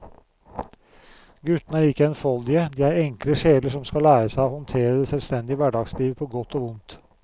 Guttene er ikke enfoldige, de er enkle sjeler som skal lære seg å håndtere det selvstendige hverdagslivet på godt og vondt.